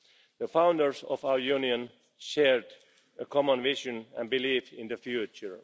The founders of our Union shared a common vision and belief in the future.